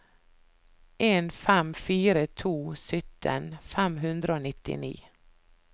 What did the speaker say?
en fem fire to sytten fem hundre og nittini